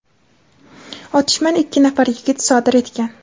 otishmani ikki nafar yigit sodir etgan.